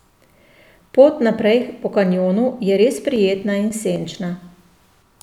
Pot naprej po kanjonu je res prijetna in senčna.